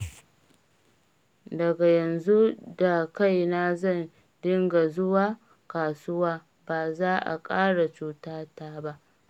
Daga yanzu da kaina zan dinga zuwa kasuwa, ba za a ƙara cutata ba